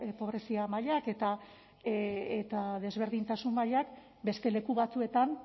pobrezia mailak eta desberdintasun mailak beste leku batzuetan